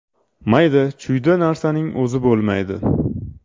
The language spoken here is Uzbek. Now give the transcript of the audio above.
Mayda-chuyda narsaning o‘zi bo‘lmaydi.